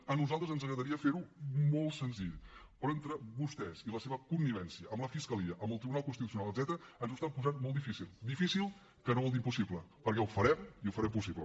a nosaltres ens agradaria fer ho molt senzill però entre vostès i la seva connivència amb la fiscalia amb el tribunal constitucional etcètera ens ho estan posant molt difícil difícil que no vol dir impossible perquè ho farem i ho farem possible